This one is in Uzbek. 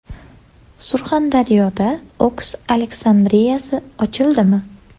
Surxondaryoda Oks Aleksandriyasi ochildimi?